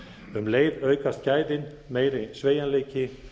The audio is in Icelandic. um leið aukast gæðin meiri sveigjanleiki